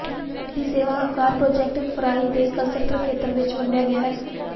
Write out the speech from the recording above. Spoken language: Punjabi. ਦੀ ਸੇਵਾ ਆਕਾਰ ਪ੍ਰੋਜਕਟ ਫਰਾਈ ਦੇ ਕਲੱਸਟਰ ਖੇਤਰ ਵਿੱਚ ਵੰਡਿਆ ਗਿਆ ਹੈ